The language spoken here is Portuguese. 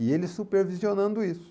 E ele supervisionando isso.